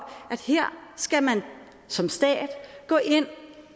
at her skal man som stat gå ind